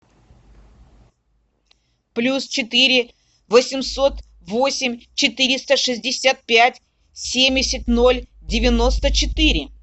плюс четыре восемьсот восемь четыреста шестьдесят пять семьдесят ноль девяносто четыре